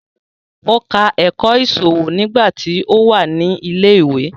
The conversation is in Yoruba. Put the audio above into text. Ó ka ẹ̀kọ́ ìṣòwò nígbà tí ó wà ní ilẹ̀ ìwé